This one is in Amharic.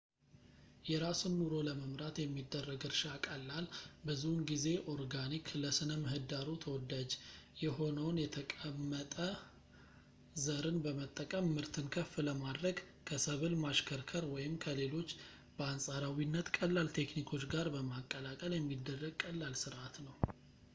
የራስን ኑሮ ለመምራት የሚደረግ እርሻ ቀላል ፣ ብዙውን ጊዜ ኦርጋኒክ ፣ ለሥነ-ምህዳሩ ተወላጅ የሆነውን የተቀመጠ ዘርን በመጠቀም ምርትን ከፍ ለማድረግ ከሰብል ማሽከርከር ወይም ከሌሎች በአንፃራዊነት ቀላል ቴክኒኮች ጋር በማቀላቀል የሚደረግ ቀላል ስርዓት ነው